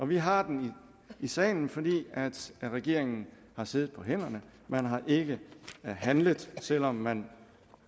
vi har den i salen fordi regeringen har siddet på hænderne man har ikke handlet selv om man